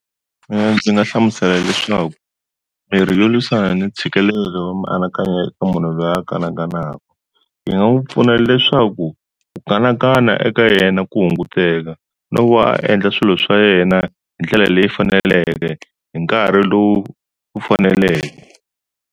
Mina ndzi nga hlamusela leswaku mirhi yo lwisana ni ntshikelelo wa mianakanyo eka munhu loyi a kanakanaku yi nga n'wi pfuna leswaku ku kanakana eka yena ku hunguteka, no va a endla swilo swa yena hi ndlela leyi faneleke hi nkarhi lowu faneleke.